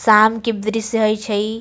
शाम के दृश्य हेय छै।